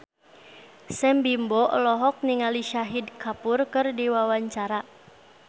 Sam Bimbo olohok ningali Shahid Kapoor keur diwawancara